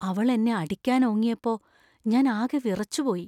അവള്‍ എന്നെ അടിക്കാനോങ്ങിയപ്പോ ഞാൻ ആകെ വിറച്ചുപോയി.